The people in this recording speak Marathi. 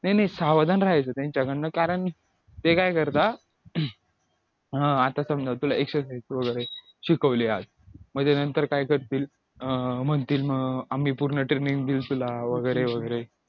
नाई नाई सावधान राहायचं त्यांच्याकडन कारण ते काय करतात अं आता समजा तुला exercise वगैरे शिकवले आज म्हणजे नंतर काय करतील अं म्हणतील आम्ही पूर्ण training देऊ तुला वगैरे वगैरे